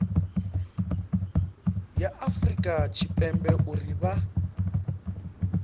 ya afurika tshipembe uri vha